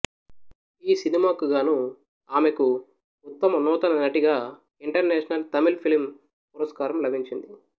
ఈ సినిమాకు గాను ఆమెకు ఉత్తమ నూతన నటిగా ఇంటర్నేషనల్ తమిళ్ ఫిల్మ్ పురస్కారం లభించింది